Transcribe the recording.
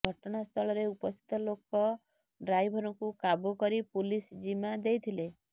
ଘଟଣାସ୍ଥଳରେ ଉପସ୍ଥିତ ଲୋକ ଡ୍ରାଇଭରଙ୍କୁ କାବୁ କରି ପୁଲିସ୍ ଜିମା ଦେଇଥିଲେ